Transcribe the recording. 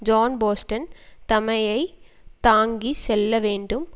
ஜோன்போஸ்டன் தமைமை தாங்கி செல்ல வேண்டும்